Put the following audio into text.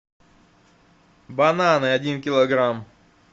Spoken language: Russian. бананы один килограмм